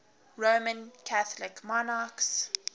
roman catholic monarchs